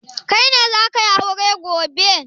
Kai ne za ka yi aure gobe?